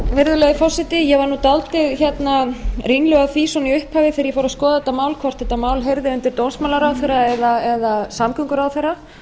virðulegi forseti ég var nú dálítið ringluð af því svona í upphafi þegar ég fór að skoða þetta mál hvort þetta mál heyrði undir dómsmálaráðherra eða samgönguráðherra